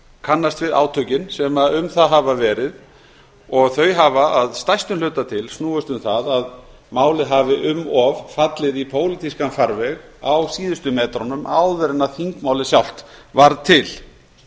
kannast við átökin sem um það hafa verið og þau hafa að stærstu hluta til snúist um það að málið hafi um of fallið í pólitískan farveg á síðustu metrunum áður en þingmálið sjálft varð til